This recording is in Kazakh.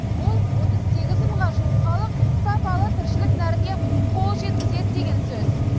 бұл отыз сегіз мыңға жуық халық сапалы тіршілік нәріне қол жеткізеді деген сөз